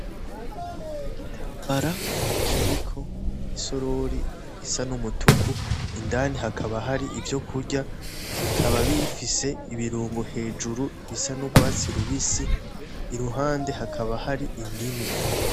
N'igitambara kiriko isorori isa n'umutuku, indani hakaba hari ivyokurya bikaba bifise ibirungo hejuru bisa n'ugwatsi rubisi, iruhande hakaba hari indimu.